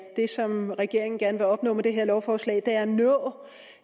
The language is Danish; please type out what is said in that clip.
det som regeringen gerne vil opnå med det her lovforslag er